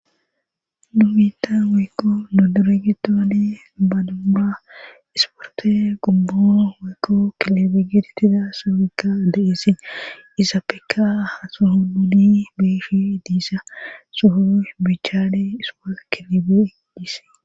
Numitan weykko nodoregitoane banaura isporte gummo weykko kilibi gidttida sobekka de'esin iza peeka hasuhuluni beeshi diisa suhu bichaade ispol kilebe disi.